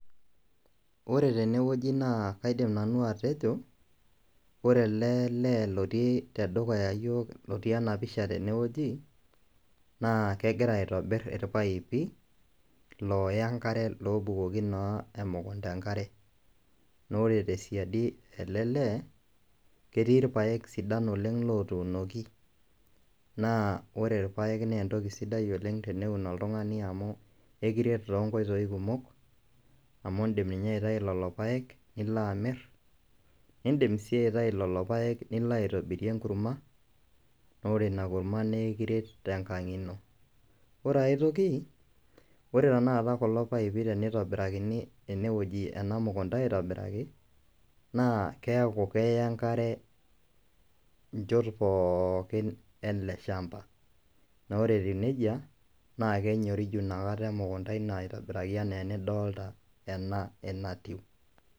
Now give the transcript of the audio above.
Ore tenewueji naa kaidim nanu atejo ore ele lee otii tedukuya iyiook lotii ena pisha tenewueji naa kegira aitobirr irpaipi looya enkare loobukoki naa emukunda enkare naa ore tesiadi ele lee ketii irpaek sidan otuunoki naa ore irpaek naa entoki sidai oleng' teneun oltung'ani amu kakiret toonkoitoi kumok amu iindim ninye aitayu lelo paek nilo amirr niidim sii aitayu lelo paek nilo aitobirie enkurma naa ore ina kurma naa aikiret tenkang' ino , ore ai toki ore tanakata kulo paipi tenitobirakini ena mukunda aitobiraki naa keeku keya enkare inchot pookin ele shamba naa ore etiu neija naa kenyoriju inakata emukunda ino aitobiraki enaa enidolita ena enatiu.